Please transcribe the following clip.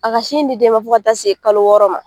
A ka sin di den ma fo ka ta se kalo wɔɔrɔ ma.